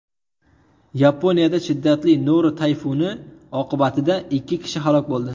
Yaponiyada shiddatli Noru tayfuni oqibatida ikki kishi halok bo‘ldi.